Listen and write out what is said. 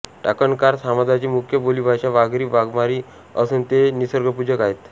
टाकणकार समाजाची मुख्य बोलीभाषा वाघरी वाघरामी असून ते निसर्गपूजक आहेत